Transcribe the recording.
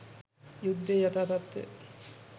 යුද්ධයේ යථා තත්ත්වය